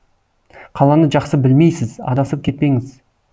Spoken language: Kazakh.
қаланы жақсы білмейсіз адасып кетпеңіз